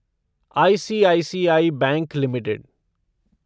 ICICI bank limited